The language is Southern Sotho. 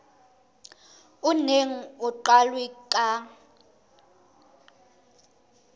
o neng o qalwe ka